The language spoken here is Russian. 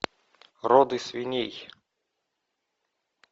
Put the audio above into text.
роды свиней